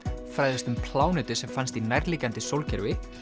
fræðumst um plánetu sem fannst í nærliggjandi sólkerfi